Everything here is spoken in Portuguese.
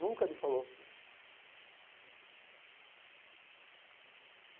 Nunca me falou.